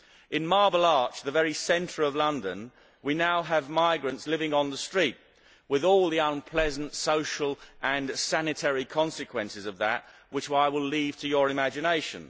In Marble Arch, the very centre of London, we now have migrants living on the street, with all the unpleasant social and sanitary consequences that involves, which I will leave to your imagination.